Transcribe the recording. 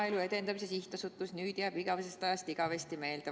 Maaelu Edendamise Sihtasutus jääb mulle nüüd igavesest ajast igavesti meelde.